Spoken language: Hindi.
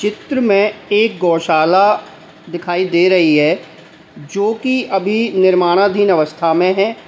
इस चित्र में एक गौशाला दिखाई दे रही है जो कि अभी निर्माणाधीन अवस्था में है।